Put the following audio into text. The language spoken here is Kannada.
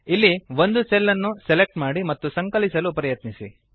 ಇಲ್ಲಿ ಒಂದು ಸೆಲ್ ಅನ್ನು ಸೆಲೆಕ್ಟ್ ಮಾಡಿ ಮತ್ತು ಸಂಕಲಿಸಲು ಪ್ರಯತ್ನಿಸಿ